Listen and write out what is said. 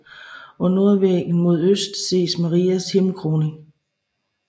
På nordvæggen mod øst ses Marias himmelkroning